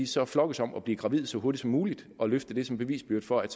så flokkes om at blive gravide så hurtigt som muligt og vil løfte det som bevisbyrde for at